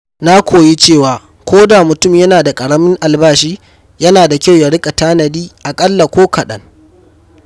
Na koyi cewa koda mutum yana da ƙaramin albashi, yana da kyau ya riƙa tanadi aƙalla ko kaɗan.